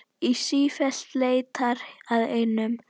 Og sífellt leitar að einum.